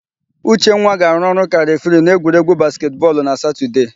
Uchenwa ga-arụ ọrụ ka refiri n'egwuregwu basketị bọọlụ na Satọdee.